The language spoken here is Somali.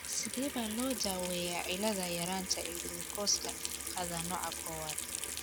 Sidee baa loo daweeyaa cilada yaranta ee gulukoosta qaada nooca kowaad?